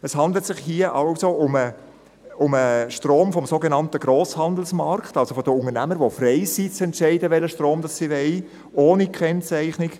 Es handelt sich hier also um den Strom vom sogenannten Grosshandelsmarkt, also von den Unternehmen, welche frei sind zu entscheiden, welchen Strom sie wollen – ohne Kennzeichnung.